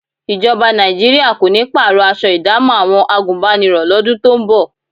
Ìjọba Nàìjíríà kò ní pààrọ̀ aṣọ ìdámọ̀ àwọn àgùnbánirọ̀ lọ́dún tó ń bọ̀